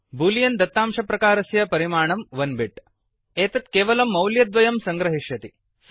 Boolean दत्तांशप्रकारस्य परिमाणं 1 bit एकं बिट् एतत् द्वयं मौल्यानि केवलं सङ्ग्रहिष्यति